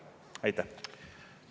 Aitäh!